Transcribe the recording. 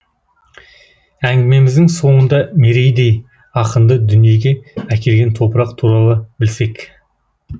әңгімеміздің соңында мерейдей ақынды дүниеге әкелген топырақ туралы білсек